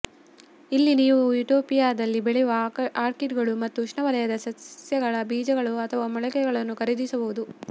ಇಲ್ಲಿ ನೀವು ಯುಟೋಪಿಯಾದಲ್ಲಿ ಬೆಳೆಯುವ ಆರ್ಕಿಡ್ಗಳು ಮತ್ತು ಉಷ್ಣವಲಯದ ಸಸ್ಯಗಳ ಬೀಜಗಳು ಅಥವಾ ಮೊಳಕೆಗಳನ್ನು ಖರೀದಿಸಬಹುದು